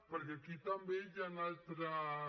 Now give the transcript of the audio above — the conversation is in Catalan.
perquè aquí també hi han altres